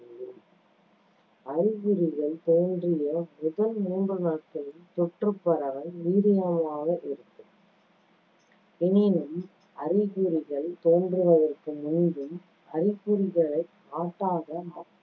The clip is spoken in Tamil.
அறிகுறிகள் தோன்றிய முதல் மூன்று நாட்களில் தொற்றுப் பரவல் வீரியமாக இருக்கும் எனினும் அறிகுறிகள் தோன்றுவதற்கு முன்பும், அறிகுறிகளைக் காட்டாத